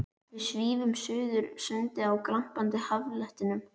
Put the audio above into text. Við svífum suður sundið á glampandi haffletinum.